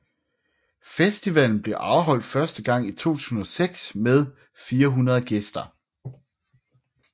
Festivalen blev afholdt første gang i 2006 med 400 gæster